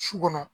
Su kɔnɔ